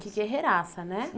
Que guerreiraça, né?